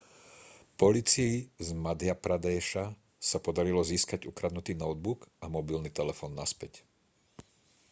polícii z madhjapradéša sa podarilo získať ukradnutý notebook a mobilný telefón naspäť